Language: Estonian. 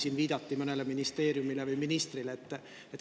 Siin viidati mõnele ministeeriumile või ministrile.